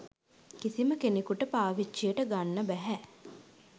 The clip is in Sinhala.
කිසිම කෙනෙකුට පාවිච්චියට ගන්න බැහැ.